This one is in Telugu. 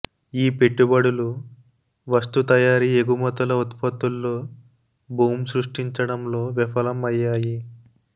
ఈ పెట్టుబడులు వస్తు తయారీ ఎగుమతుల ఉత్పత్తుల్లో బూమ్ సృష్టించడంలో విఫలం అయ్యాయి